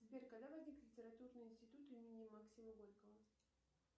сбер когда возник литературный институт имени максима горького